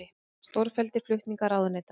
Stórfelldir flutningar ráðuneyta